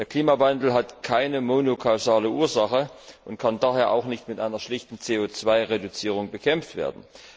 Der Klimawandel hat keine monokausale Ursache und kann daher auch nicht mit einer schlichten CO 2 Reduzierung bekämpft werden.